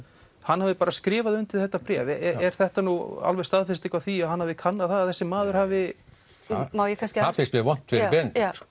hann hafi bara skrifað undir þetta bréf er þetta nú alveg staðfesting á því að hann hafi kannað það að þessi maður hafi það finnst mér vont fyrir Benedikt